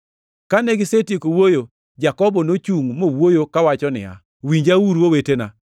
Kane gisetieko wuoyo, Jakobo nochungʼ mowuoyo kowacho niya, “Winjauru, owetena.